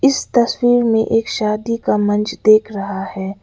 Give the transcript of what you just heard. इस तस्वीर में एक शादी का मंच दिख रहा है।